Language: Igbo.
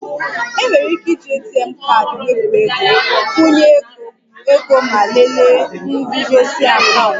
Enwere ike iji ATM wepụ ego, nkwụnye ego ego ma lelee nguzozi akaụntụ